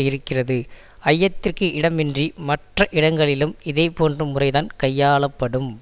இருக்கிறது ஐயத்திற்கு இடமின்றி மற்ற இடங்களிலும் இதே போன்ற முறைதான் கையாளப்படும்